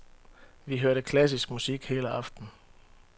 Vi hørte klassisk musik hele aftnen.